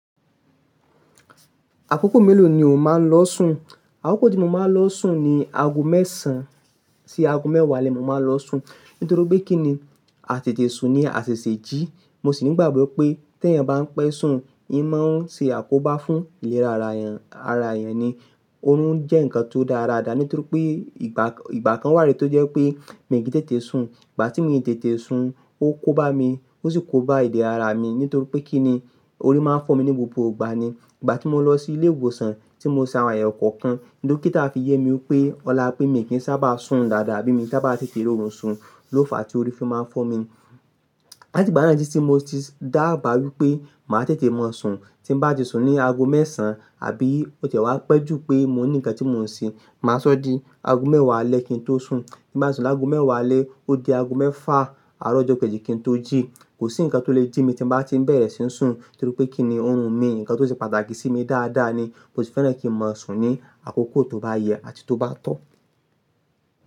Àkókò mélòó ni o máa ń lọ sùn? Àkókò tí mo máa ń lọ sùn ni aago mẹ́sàn-án sí aago mẹ́wàá alẹ́ ni mo máa ń lọ sùn. Nítorí pé kí ni, àtètè sùn ni àtète jí. Mo sì ni igbàgbọ́ pé tí eeyàn bá ń pẹ́ sùn, n máa ń ṣe àkóbá fún ìlera ara èèyàn, ara èèyàn ni. Oorun jẹ́ nkan tó dára dáadáa nítorí pé ìgbà kan wà tí ó jẹ́ pé mi ki i tètè sun. Ìgbà tí mi ò tètè sun, ó kó bá mi, ó sì kó bá ìdè ara mi nítorí pé kí ni, ori máa ń fọ́ mi ní gbogbo ìgbà ni. Ìgbà tí mo lọ sí ilé ìwòsàn tí mo ṣe àwọn ayewo kookan, dokita fi yé mi wipé, ọ̀la pé mi kì í saábà sùn dáadáa abí mi saábà tètè ri oórun sùn ló fa tí ori fi máa ń fọ́ mi. Lati ìgbà náà tití ti mo ti dáàba wípé màá tètè mọ sùn. Tí n bà tí sùn ní aago mẹ́sàn-án àbí ó ti ẹ́ wá pẹ́ jù pé mo ní ǹkan tí mò ń ṣe, màá sọ̀ dí. Aago mẹ́wàá alẹ́ kí n tó sùn. Tí n bà tí sùn laágo mẹ́wàá alẹ́, ó di aago mẹ́fà àárọ̀ ọjọ́ keji kí n tó jí. Kò sí nkan tó lè jí mi tí n bà tí ń bẹ̀rẹ̀ sí ń sùn nítorí pé kí ni, òórùn mi, nkan tó ṣe pàtàkì sí mi dáadáa ni. Mo sì fẹ́ràn kí n mọ sùn ní àkókò tó bá yẹ àti tó bá tọ́.